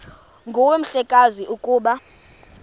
nguwe mhlekazi ukuba